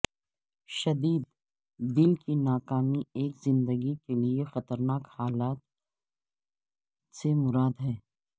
شدید دل کی ناکامی ایک زندگی کے لیے خطرناک حالت سے مراد ہے